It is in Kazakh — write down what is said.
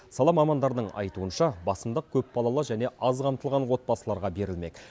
сала мамандарының айтуынша басымдық көпбалалы және аз қамтылған отбасыларға берілмек